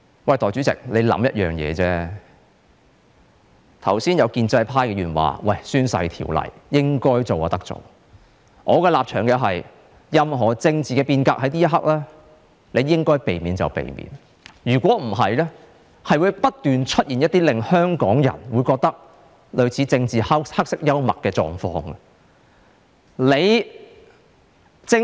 剛才有建制派議員說政府應該修訂《宣誓及聲明條例》的，而我的立場是，此刻任何政治變革可免則免，否則將會不斷出現一些令香港人覺得類似政治黑色幽默的狀況。